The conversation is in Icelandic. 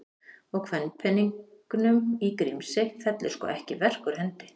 Og kvenpeningnum í Grímsey fellur sko ekki verk úr hendi.